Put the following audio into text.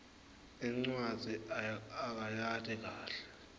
incwadzi akayati kahle